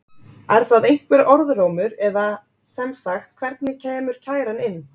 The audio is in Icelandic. Er það einhver orðrómur eða sem sagt hvernig kemur kæran inn?